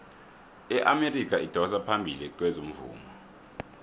iamerika idosa phambili kezomvumo